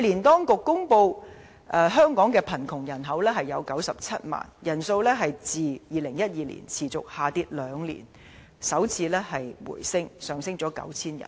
當局去年公布香港的貧窮人口是97萬，人數自2012年持續下跌兩年後首次回升，上升 9,000 人。